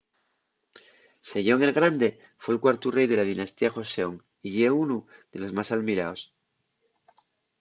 sejong el grande fue’l cuartu rei de la dinastía joseon y ye unu de los más almiraos